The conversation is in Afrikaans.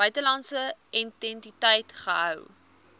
buitelandse entiteit gehou